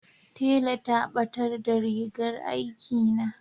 tela ta batar da rigar aiki na